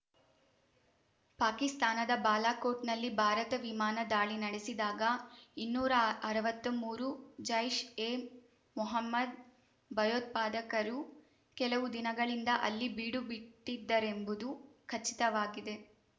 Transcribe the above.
ಪಾಕಿಸ್ತಾನದ ಬಾಲಾಕೋಟ್‌ನಲ್ಲಿ ಭಾರತ ವಿಮಾನ ದಾಳಿ ನಡೆಸಿದಾಗ ಇನ್ನೂರಾ ಅರ್ವತ್ಮೂರು ಜೈಷ್ಎ ಮೊಹಮ್ಮದ್ ಭಯೋತ್ಪಾದಕರು ಕೆಲವು ದಿನಗಳಿಂದ ಅಲ್ಲಿ ಬೀಡುಬಿಟ್ಟಿದ್ದರೆಂಬುದು ಖಚಿತವಾಗಿದೆ